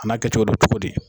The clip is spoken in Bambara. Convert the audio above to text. A na kɛ cogo do cogo di.